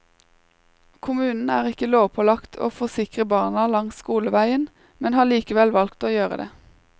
Kommunen er ikke lovpålagt å forsikre barna langs skoleveien, men har likevel valgt å gjøre det.